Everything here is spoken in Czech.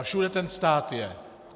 A všude ten stát je.